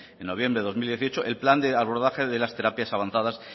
en noviembre de dos mil dieciocho el plan de abordaje de las terapias avanzadas